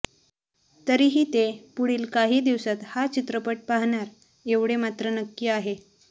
तरीही ते पुढील काही दिवसात हा चित्रपट पाहणार एवढे मात्र नक्की आहे